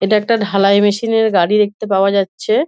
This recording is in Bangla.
এটা একটা ঢালাই মেশিন এর গাড়ি দেখতে পাওয়া যাচ্ছে।